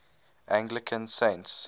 anglican saints